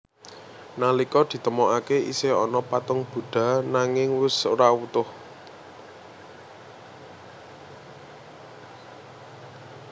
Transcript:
Nalika ditemoaké isih ana patung Buddha nanging wus ora utuh